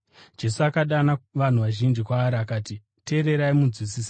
Jesu akadana vanhu vazhinji kwaari akati, “Teererai, munzwisise.